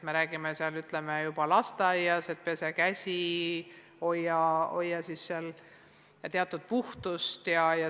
Me räägime juba lasteaias, et pese käsi, hoia puhtust.